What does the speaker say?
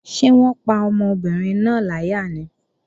Ṣé wọ́n pa ọmọbìnrin náà láyà ni?